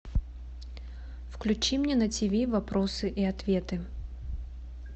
включи мне на тв вопросы и ответы